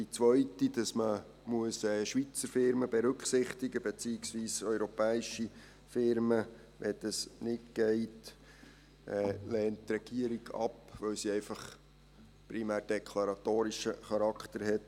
Die zweite, wonach man Schweizer Firmen berücksichtigen muss, beziehungsweise, wenn das nicht geht, europäische Firmen, lehnt die Regierung ab, weil sie einfach primär deklaratorischen Charakter hat.